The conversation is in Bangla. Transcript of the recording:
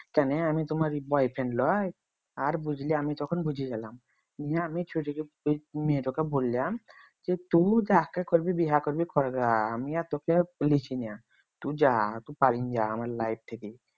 কেন আমি তোমার boyfriend লই আর বুঝলি আমি তখন বুঝে গেলাম নিয়ে আমি ছুরিকে মেয়েটাকে বললাম যে তুই যাকে করবি বিয়ে করবি কর গা আমি আর তোকে লিছিনা। তুই যা পালিন যা আমার life থেকে